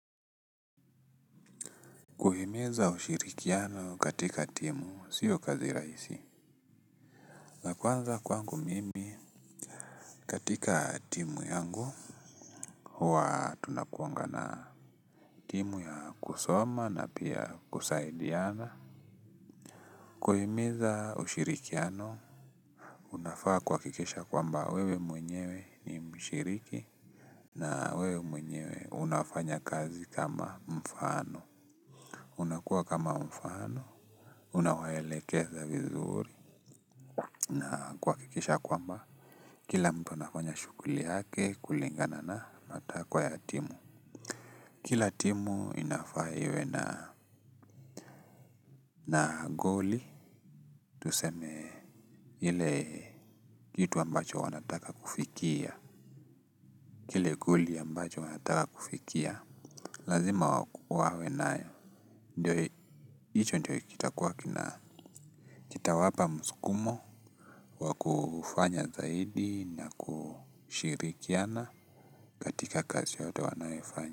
Kuhimeiza ushirikiano katika timu sio kazi raisi. Nakuanza kwangu mimi katika timu yangu wa tunakuangana. Timu ya kusoma na pia kusaidiana kuhimiza ushirikiano unafaa kuhakikisha kwamba wewe mwenyewe ni mshiriki. Na wewe mwenyewe unafanya kazi kama mfano. Unakuwa kama mfano. Unawaelekeza vizuri. Na kuhakikisha ya kwamba kila mtu anafanya shughuli yake kulingana na matakwa ya timu. Kila timu inafaa iwe na naa goli. Tuseme ile jitu ambacho wanataka kufikia. Kile guli ambacho wanataka kufikia. Lazima wawe naye. Ndiyo hicho ndiyo kitakuwa kina kitawapa msukumo wakufanya zaidi na kushirikiana katika kazi yote wanayo ifanya.